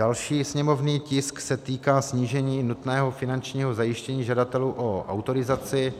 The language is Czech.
Další sněmovní tisk se týká snížení nutného finančního zajištění žadatelů o autorizaci